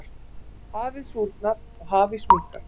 hafið súrnar og hafís minnkar